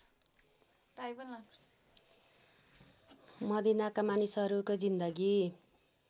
मदीनाका मानिसहरूको जीन्दगी